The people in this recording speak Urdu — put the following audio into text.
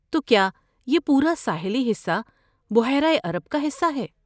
تو کیا یہ پورا ساحلی حصہ بحیرہ عرب کا حصہ ہے؟